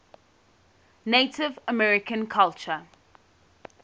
native american culture